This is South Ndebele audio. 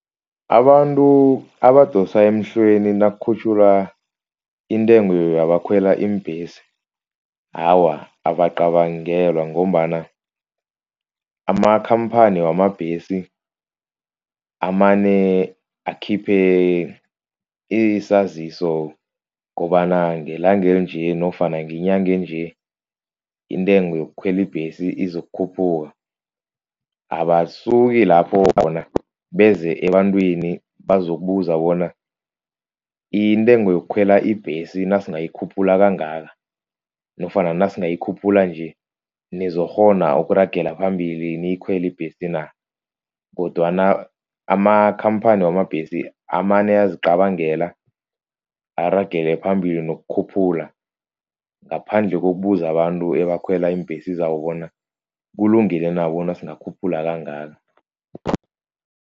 Abantu abadosa emhlweni nakukhutjhulwa intengo yabakhwela iimbhesi awa, abacabangelwa ngombana amakhamphani wamabhesi amane akhiphe isaziso kobana ngelanga elinje nofana ngenyange enje intengo yokukhwela ibhesi izokukhuphuka. Abasuki lapho bona beze ebantwini bazokubuza bona intengo yokukhwela ibhesi nasingayi khuphula kangaka, nofana nasingayi khuphula nje nizokukghona ukuragela phambili niyikhwele ibhesi na? Kodwana amakhamphani wamabhesi amane ayazicabangela aragele phambili nokukhuphula, ngaphandle kokubuza abantu abakhwela iimbhesi zabo bona kulungile na bona singakhuphula kangaka.